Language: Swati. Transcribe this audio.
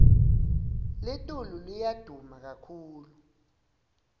litulu liya duma kakhulu